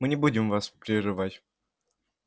мы не будем вас прерывать